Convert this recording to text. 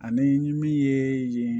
Ani min ye